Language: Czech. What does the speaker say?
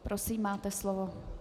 Prosím, máte slovo.